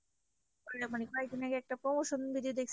মানে কয়েকদিন আগে একটা promotion video দেখছি।